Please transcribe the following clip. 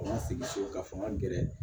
Fanga sigi so ka fanga gɛrɛ